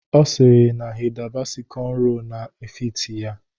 Ọ sịrị na Hida Basi kọnro na-efiti ya